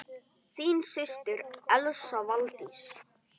Þín systir, Elsa Valdís.